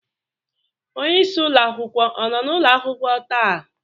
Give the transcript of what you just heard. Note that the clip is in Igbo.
Onye isi ụlọ akwụkwọ ọ nọ n'ụlọ akwụkwọ taa?